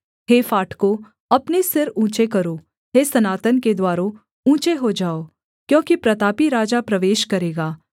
हे फाटकों अपने सिर ऊँचे करो हे सनातन के द्वारों ऊँचे हो जाओ क्योंकि प्रतापी राजा प्रवेश करेगा